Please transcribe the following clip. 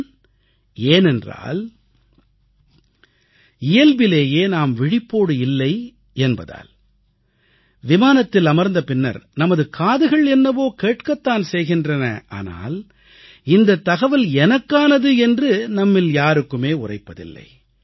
ஏன் ஏனென்றால் இயல்பிலேயே நாம் விழிப்போடு இல்லை என்பதால் விமானத்தில் அமர்ந்த பின்னர் நமது காதுகள் என்னவோ கேட்கத் தான் செய்கின்றன ஆனால் இந்தத் தகவல் எனக்கானது என்று நம்மில் யாருக்குமே உரைப்பதில்லை